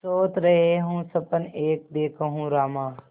सोवत रहेउँ सपन एक देखेउँ रामा